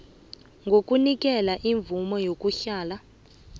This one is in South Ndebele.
kokunikelwa imvumo yokuhlala